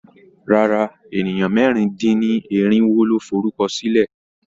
Rárá, ènìyàn mẹ́rin-dín-irinwo ló forúkọ sílẹ̀.